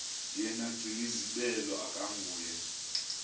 yena gcinizibele akanguye